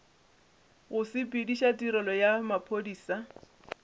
go sepediša tirelo ya maphodisa